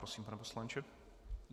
Prosím, pane poslanče.